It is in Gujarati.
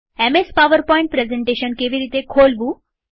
એમએસ પાવરપોઈન્ટ પ્રેઝન્ટેશન કેવી રીતે ખોલવું